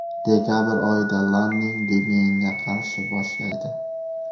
Dekabr oyida Lanning Demienga qarashni boshlaydi.